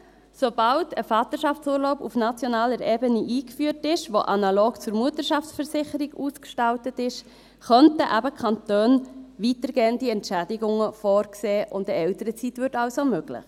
Sobald ein Vaterschaftsurlaub auf nationaler Ebene eingeführt ist, der analog zur Mutterschaftsversicherung ausgestaltet ist, könnten eben die Kantone weitergehende Entschädigungen vorsehen, und eine Elternzeit würde also möglich.